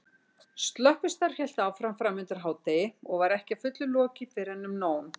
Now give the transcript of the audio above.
Slökkvistarf hélt áfram framundir hádegi og var ekki að fullu lokið fyrren um nón.